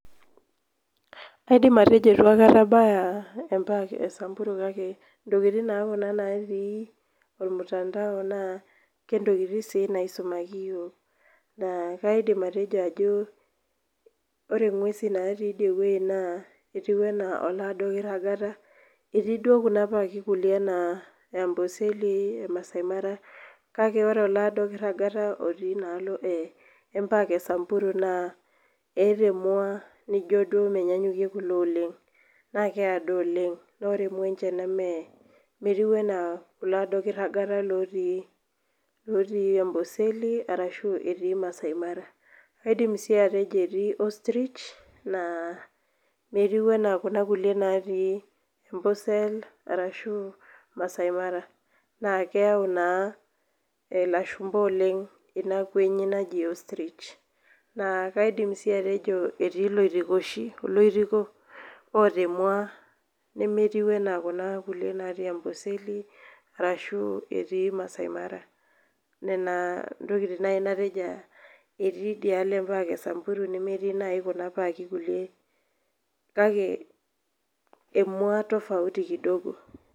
Kaidim atejo itu akata abaya empak e Samburu kake intokiting naa kuna natii ormtandao naa kentokiting si naisumaki yiok. Naa kaidim atejo ajo ore ng'uesin natii idie woi naa etiu enaa olado kirragata, etii duo kuna paki kulie naa amboseli, masai mara, kake ore olaado kirragata otii inaalo empak e Samburu naa eeta emua nijo duo menyanyukie kulo oleng. Na keado oleng. Na ore emua enche neme metiu enaa kulado kirragata lotii amboseli arashu etii masai mara. Kaidim si atejo etii ostrich, naa metiu enaa kuna kulie natii ambosel arashu masai mara. Na kitau naa ilashumpa oleng ina kuenyi naji ostrich. Na kaidim si atejo etii loitikoshi oloitiko oota emua nemetiu enaa kuna kulie natii amboseli, arashu etii masai mara. Nena ntokiting nai nateja etii idialo empak e Samburu nemetii nai kuna paki kulie kake emua tofauti kidogo.